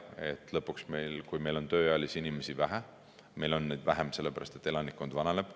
Lõpuks, et meil on tööealisi inimesi vähe, meil on neid vähem, sellepärast et elanikkond vananeb.